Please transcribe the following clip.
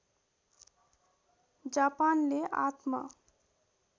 जापानले आत्म